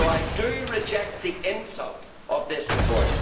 So I do reject the insult of this report.